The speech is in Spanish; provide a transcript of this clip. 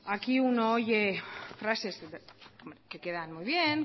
aquí uno oye frases que quedan muy bien